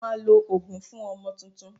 Wọ́n máa lo òógùn fún ọmọ tuntun